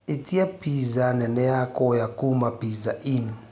ĩtĩa piza nene ya kũoya kũma pizza inn